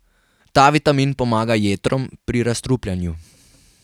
Ta vitamin pomaga jetrom pri razstrupljanju.